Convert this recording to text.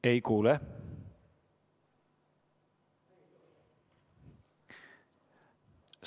Ei kuule!